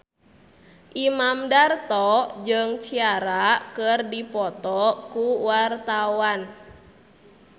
Imam Darto jeung Ciara keur dipoto ku wartawan